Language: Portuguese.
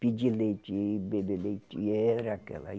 pedir leite, beber leite e era aquela.